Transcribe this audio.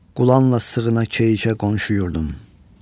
Qulanla sığına keyşəkə qonşu yurdum.